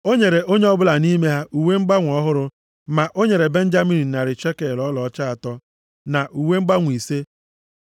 O nyere onye ọ bụla nʼime ha uwe mgbanwe ọhụrụ, ma o nyere Benjamin narị shekel ọlaọcha atọ, na uwe mgbanwe ise.